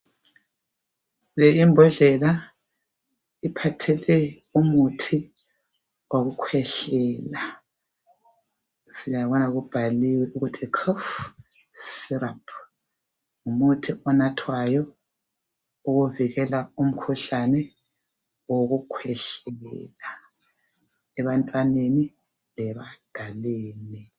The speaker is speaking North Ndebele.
Le imbodlela, iphathele umuthi wokukhwehlela siyabona ukuthi kubhaliwe ukuthi cough syrup. Ngumuthi onathwayo ovikela umkhuhlane wokukhwehlela ebantwaneni lebadaleni.